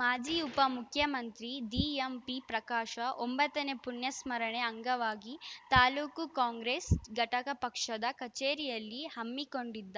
ಮಾಜಿ ಉಪ ಮುಖ್ಯಮಂತ್ರಿ ದಿಎಂಪಿ ಪ್ರಕಾಶ ಒಂಬತ್ತನೇ ಪುಣ್ಯಸ್ಮರಣೆ ಅಂಗವಾಗಿ ತಾ ಕಾಂಗ್ರೆಸ್‌ ಘಟಕ ಪಕ್ಷದ ಕಚೇರಿಯಲ್ಲಿ ಹಮ್ಮಿಕೊಂಡಿದ್ದ